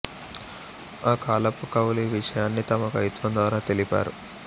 ఆ కాలపు కవులు ఈ విషయాన్ని తమ కవిత్వం ద్వారా తెలిపారు